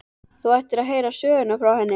Þú ættir að heyra sögurnar af henni.